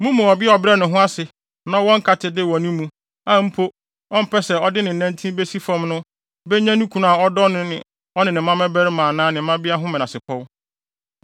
Mo mu ɔbea a ɔbrɛ ne ho ase na ɔwɔ nkatede wɔ ne mu, a mpo ɔmpɛ sɛ ɔde ne nantin besi fam no benya ne kunu a ɔdɔ no ne ɔno ara ne mmabarima anaa ne mmabea ho menasepɔw.